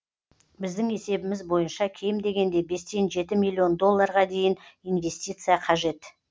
біздің есебіміз бойынша кем дегенде бестен жеті миллион долларға дейін инвестиция қажет